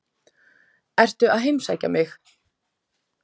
Ertu að heimsækja mig?